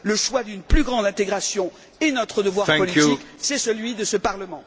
Le choix d'une plus grande intégration est notre devoir politique, c'est celui de ce Parlement.